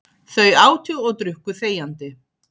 Þau átu og drukku þegjandi.